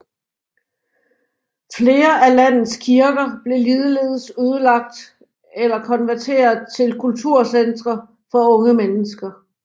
Flere af landets kirker blev ligeledes ødelagt eller konverteret til kulturcentre for unge mennesker